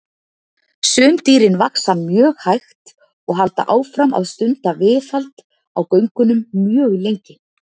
Sum dýrin vaxa mjög hægt og halda áfram að stunda viðhald á göngunum mjög lengi.